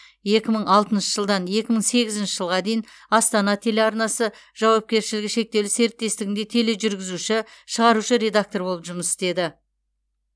екі мың алтыншы жылдан екі мың сегізінші жылға дейін астана телеарнасы жауапкершілігі шектеулі серіктестігінде тележүргізуші шығарушы редактор болып жұмыс істеді